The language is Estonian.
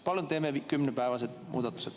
Palun teeme muudatuse kümne päeva kohta!